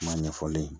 Kuma ɲɛfɔlen ye